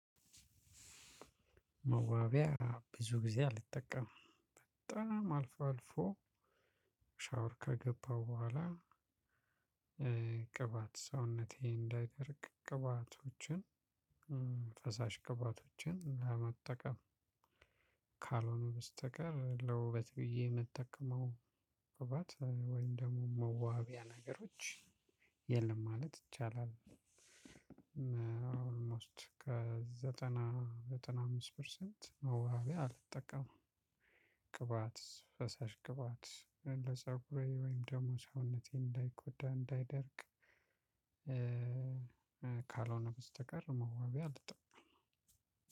መዋቢያ ብዙ ጊዜ አልጠቀምም በጣም አልፎ አልፎ ሻውር ከገባው በኋላ ቅባት ሰውነቴ እንዳይደርቅ ቅባቶችን ፈሳሽ ቅባቶችን ለመጠቀም ካልሆነ በስተቀር ለውበት ብዬ የምጠቀመው ቅባት ወይም ደግሞ መዋቢያ ነገሮች የለም ማለት ይቻላል። ኦልሞስት ከዘጠና ዘጠና አምስት ፐርሰንት መዋቢያ አልጠቀምም። ቅባት ፈሳሽ ቅባት ወይም ለፀጉሬ ወይም ደግሞ ሰውነቴ እንዳይጎዳ እንዳይደርቅ ካልሆነ በስተቀር መዋቢያ አልጠቀምም።